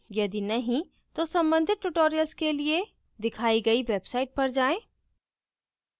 यदि नहीं तो कृपया संबंधित tutorials के लिए दिखाई गई website पर जाएँ